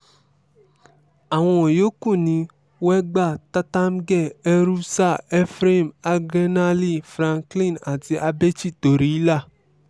àwọn yòókù ni wegba tertamge erusaa ephraim agenale franklin àti abechi toryila